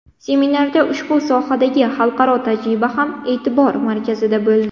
Seminarda ushbu sohadagi xalqaro tajriba ham e’tibor markazida bo‘ldi.